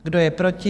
Kdo je proti?